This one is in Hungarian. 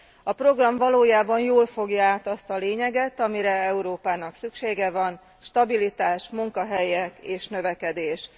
A program valójában jól fogja át azt a lényeget, amire Európának szüksége van stabilitás, munkahelyek és növekedés.